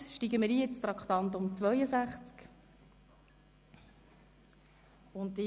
Somit steigen wir in das Traktandum 62 ein.